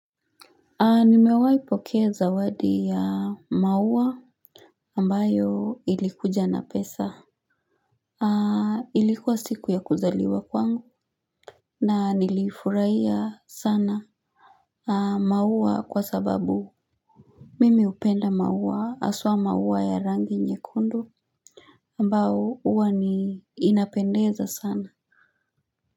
Nimewahi pokea zawadi ya maua ambayo ilikuja na pesa. Ilikuwa siku ya kuzaliwa kwangu. Na nilifurahia sana maua kwa sababu. Mimi hupenda maua haswa maua ya rangi nyekundu ambayo huwa ni inapendeza sana.